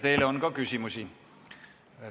Teile on ka küsimusi.